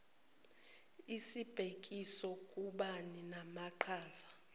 sibhekiswe kubani namaqhaza